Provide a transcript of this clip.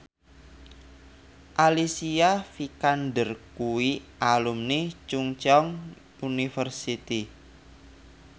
Alicia Vikander kuwi alumni Chungceong University